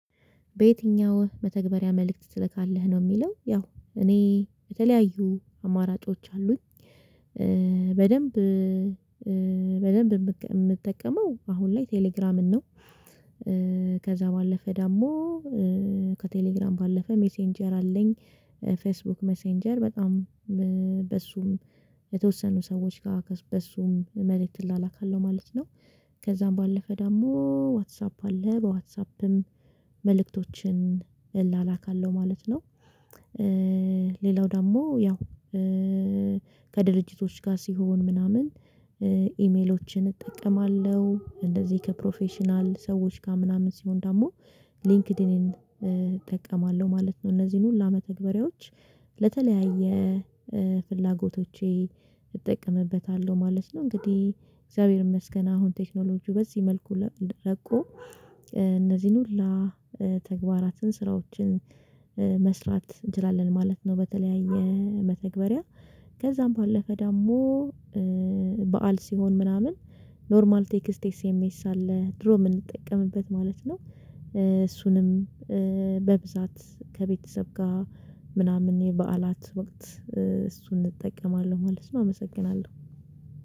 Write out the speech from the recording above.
በየትኛው? መተግበሪያ መልእክት ትልካለህ ነው የሚለው ያው እኔ የተለያዩ አማራጮች አሉኝ። በደንብ የምጠቀመው አሁን ላይ ቴሌግራምን ነው። ከዛ ባለፈ ደግሞ ከቴሌግራም ባለፈ ሜሴንጀር አለኝ። ፌስቡክ ሜሴንጀር በጣም በሱም የተወሰኑ ሰዎች ጋር በሱም መልእክት ትላላካለሁ ማለት ነው። ከዛም ባለፈ ደግሞ ዋትሳፕ አለ በዋትሳፕም መልእክቶችን እላላካለሁ ማለት ነው። ሌላው ደግሞ ያው ከድርጅቶች ጋር ሲሆን ምናምን ኢሜሎችን እጠቀማለሁ እንደዚህ ከፕሮፌሽናል ሰዎች ጋር ምናምን ሲሆን ደግሞ ሊንክዲን እጠቀማለሁ ማለት ነው እነዚህን ሁሉ መተግባሪዎች ለተለያየ ፍላጎቶቼ እጠቀምበታለሁ ማለት ነው። እንግዲህ እግዚአብሔር ይመስገን አሁን ቴክኖሎጂው በዚህ መልኩ ረቆ እነዚህን ሁላ ተግባራትን ስራዎችን መስራት እንችላለን ማለት ነው። በተለያየ መተግበሪያ ከዛም ባለፈ ደግሞ በዓል ሲሆን ምናምን ኖርማል ቴክስቴስ ኤምኤስ አለ ድሮ የምንጠቀምበት ማለት ነው። እሱንም በብዛት ከቤተሰብ ጋር ምናምን የበዓላት ወቅት እሱን እጠቀማለሁ ማለት ነው። አመሰግናለሁ።